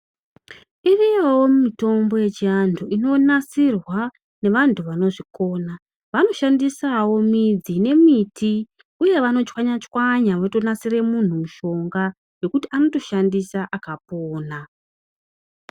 Iriyowo mitombo yechi vantu inonasirwa nevantu vanozvikona vanoshandisawo midzi nemiti uye vano chwanya chwanya voto nasire mutu mushonga wekuti anotoshandisa akapona